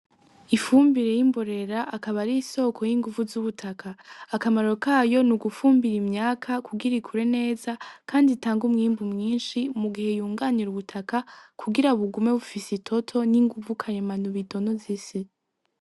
Ifumbire y'imborera akaba ari isoko y'inguvu z'ubutaka akamaro kayo ni ugufumbira imyaka kugira ikure neza kandi itange umwimbu mwinshi mugihe yunganira ubutaka kugira bugume bufise itoto ninguvu karemano bidonoza isi.